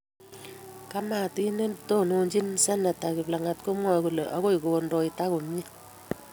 Kamatit netononchini seneta kiplagat komwoe kole akoi kondoita komye